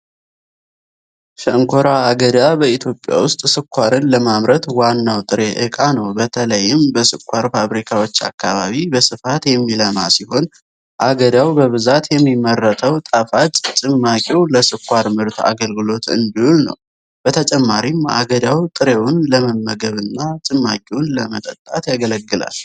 ሸንኮራ አገዳ በኢትዮጵያ ውስጥ ስኳርን ለማምረት ዋናው ጥሬ ዕቃ ነው። በተለይም በስኳር ፋብሪካዎች አካባቢ በስፋት የሚለማ ሲሆን፣ አገዳው በብዛት የሚመረተው ጣፋጭ ጭማቂው ለስኳር ምርት አገልግሎት እንዲውል ነው። በተጨማሪም፣ አገዳው ጥሬውን ለመመገብና ጭማቂውን ለመጠጣት ያገለግላል።